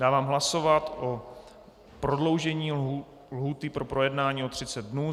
Dávám hlasovat o prodloužení lhůty pro projednání o 30 dnů.